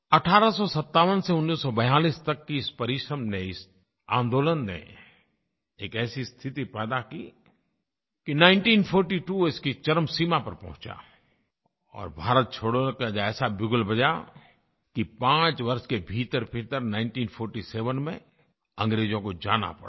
1857 से 1942 तक के इस परिश्रम ने इस आन्दोलन ने एक ऐसी स्थिति पैदा की कि 1942 इसकी चरम सीमा पर पहुँचा और भारत छोड़ो का ऐसा बिगुल बजा कि 5 वर्ष के भीतरभीतर 1947 में अंग्रेज़ों को जाना पड़ा